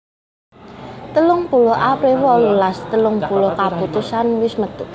telung puluh april wolulas telung puluh kaputusan wis metu